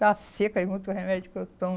Está seca e muito remédio que eu tomo.